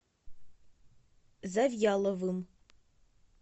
завьяловым